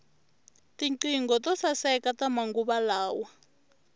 tinqingho to saeka ta manguva lawa